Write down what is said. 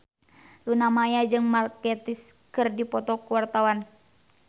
Luna Maya jeung Mark Gatiss keur dipoto ku wartawan